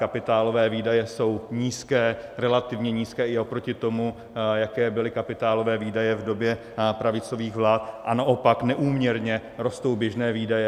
Kapitálové výdaje jsou nízké, relativně nízké i oproti tomu, jaké byly kapitálové výdaje v době pravicových vlád, a naopak neúměrně rostou běžné výdaje.